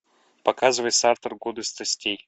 показывай сартр годы страстей